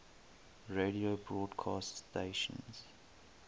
radio broadcast stations